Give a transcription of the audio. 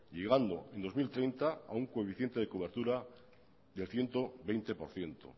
llegando en dos mil treinta a un coeficiente de cobertura de ciento veinte por ciento